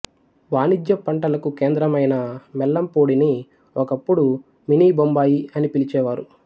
వాణిజ్య పంటలకు కేంద్రమైన మెల్లెంపూడిని ఒకప్పుడు మినీ బొంబాయి అని పిలిచేవారు